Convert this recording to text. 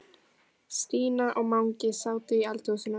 Stína og Mangi sátu í eldhúsinu.